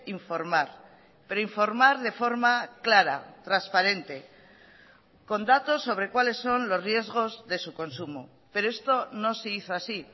informar pero informar de forma clara transparente con datos sobre cuáles son los riesgos de su consumo pero esto no se hizo así